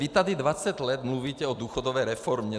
Vy tady 20 let mluvíte o důchodové reformě.